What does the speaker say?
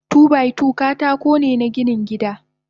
Two by two katakone na ginin gida.